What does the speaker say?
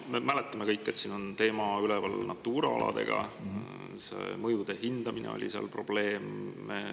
Me mäletame kõik, et siin oli üleval Natura alade teema, seal oli probleem mõjude hindamine.